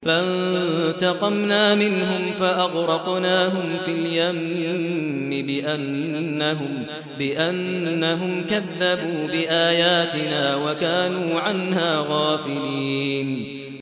فَانتَقَمْنَا مِنْهُمْ فَأَغْرَقْنَاهُمْ فِي الْيَمِّ بِأَنَّهُمْ كَذَّبُوا بِآيَاتِنَا وَكَانُوا عَنْهَا غَافِلِينَ